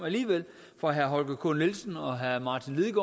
fra herre holger k nielsen og herre martin